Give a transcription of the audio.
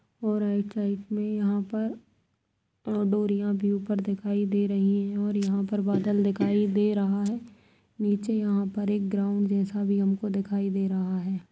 और right side मैं यहाँ पर अ डोरिया भीं ऊपर दिखाई दे रही हैं और यहाँ पर बादल दिखाई दे रहा है निचे यहाँ पर एक ग्राउंड जैसा भी हम को दिखाई दे रहा है।